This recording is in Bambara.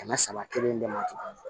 Kɛmɛ saba kelen de ma